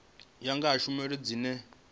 ya nga ha tshumelo dzine